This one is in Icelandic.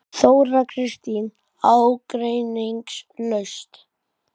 Þóra Kristín: Ágreiningslaust?